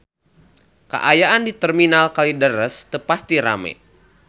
Kaayaan di Terminal Kalideres teu pati rame